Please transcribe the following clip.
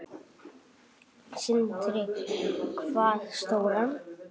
Sindri: Hvað stóran?